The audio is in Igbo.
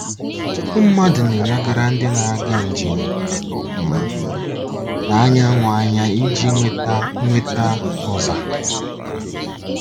Ọtụtụ mmadụ na-elegara ndị na-aga njem um n'anyanwụ anya iji nweta nweta ụza.